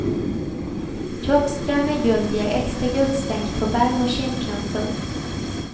Kroppskrämer i guld ger extra guldstänk på barm och kindknotor.